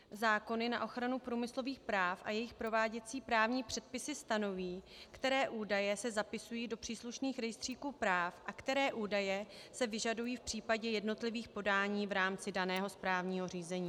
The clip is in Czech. Zákony na ochranu průmyslových práv a jejich prováděcí právní předpisy stanoví, které údaje se zapisují do příslušných rejstříků práv a které údaje se vyžadují v případě jednotlivých podání v rámci daného právního řízení.